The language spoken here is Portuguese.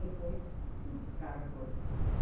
Depois, tudo ficava cor de cinza.